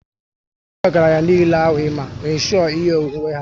Ndị ọgaranya niile ahụ i ma, n' insho ihe onwunwe ha